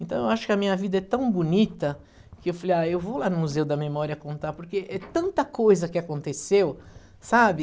Então, eu acho que a minha vida é tão bonita que eu falei, ah, eu vou lá no Museu da Memória contar, porque é tanta coisa que aconteceu, sabe?